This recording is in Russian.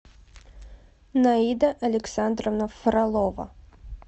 наида александровна фролова